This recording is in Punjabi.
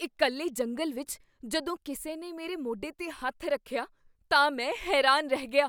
ਇਕੱਲੇ ਜੰਗਲ ਵਿਚ ਜਦੋਂ ਕਿਸੇ ਨੇ ਮੇਰੇ ਮੋਢੇ 'ਤੇ ਹੱਥ ਰੱਖਿਆ ਤਾਂ ਮੈਂ ਹੈਰਾਨ ਰਹਿ ਗਿਆ।